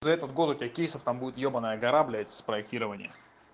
за этот год у тебя кейсов там будет ёбанная гора блядь с проектированием